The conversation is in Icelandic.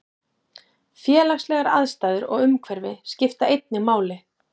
Félagslegar aðstæður og umhverfi skipta einnig máli.